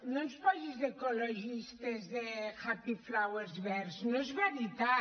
no ens posis d’ecologistes de happy flowers verds no és veritat